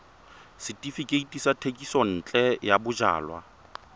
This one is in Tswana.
setefikeiti sa thekisontle ya bojalwa